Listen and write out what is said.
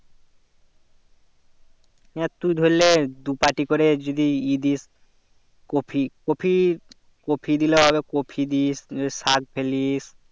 হ্যাঁ তু ধরলে দু পাটি করে যদি ই দিস কপি কপি কপি দিলে হবে কপি দিস শাক ফেলিস ।